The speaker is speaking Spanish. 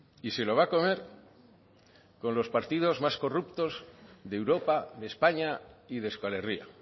y se lo va a comer con los partidos más corruptos de europa de españa y de euskal herria